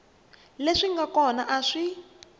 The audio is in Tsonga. leswi nga kona a swi